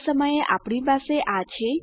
આ સમયે આપણી પાસે આ છે